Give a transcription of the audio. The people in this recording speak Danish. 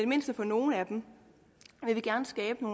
mindste for nogle af dem vil vi gerne skabe